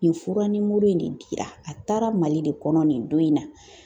Nin fura nimoro in de dira, a taara Mali de kɔnɔ nin don in na.